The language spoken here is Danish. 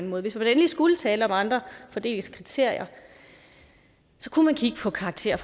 måde hvis man endelig skulle tale om andre fordelingskriterier kunne man kigge på karakterer